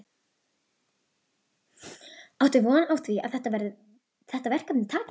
Áttu von á því að þetta verkefni takist?